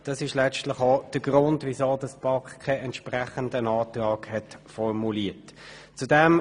Das ist letztlich auch der Grund, weshalb die BaK keinen entsprechenden Antrag formuliert hat.